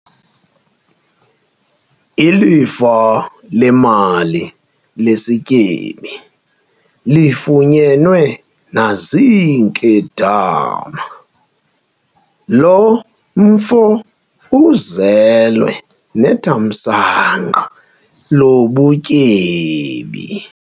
Ilifa lemali lesityebi lifunyenwe naziinkedama. lo mfo uzelwe nethamsanqa llobutyebi